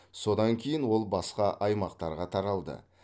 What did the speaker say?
содан кейін ол басқа аймақтарға таралды